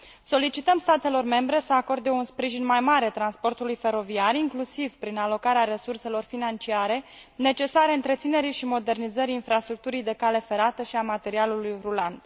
Solicităm statelor membre să acorde un sprijin mai mare transportului feroviar, inclusiv prin alocarea resurselor financiare necesare întreținerii și modernizării infrastructurii de cale ferată și a materialului rulant.